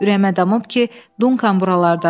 Ürəyimə damıb ki, Dunkan buralardadır.